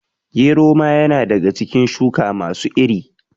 Gero ma ya na daga cikin shuka masu iri